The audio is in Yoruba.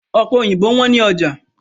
Ọ̀pẹ òyìnbó wọ́n ní ọjà